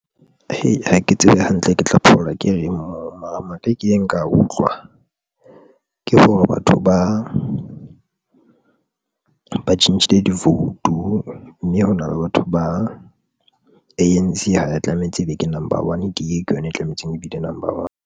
Hee! ha ke tsebe hantle, ke tla phaola ke reng moo mara maka e kileng ka a utlwa ke for_e batho ba tjhentjhile di-vote-u mme hona le batho ba A_N_C ha ya tlametse ebe ke number one D_A ke yona e tlametseng ebe number one.